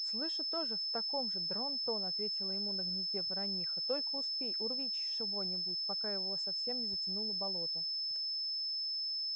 слышу тоже в таком же дрон-тон ответила ему на гнезде ворониха только успей урви чего-нибудь пока его совсем не затянуло болото